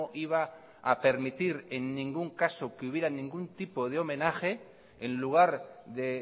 iba a permitir en ningún caso que hubiera ningún tipo de homenaje en lugar de